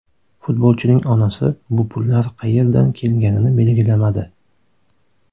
Futbolchining onasi bu pullar qayerdan kelganini belgilamadi.